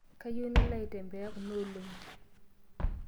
Kayieu nalo aitembea kuna olong'i.